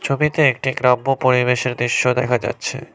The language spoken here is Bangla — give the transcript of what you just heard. ছবিতে একটি গ্রাম্য পরিবেশের দৃশ্য দেখা যাচ্ছে।